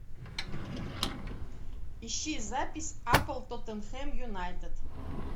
ищи запись апл тоттенхэм юнайтед